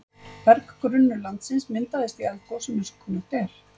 Berggrunnur landsins myndast í eldgosum eins og kunnugt er.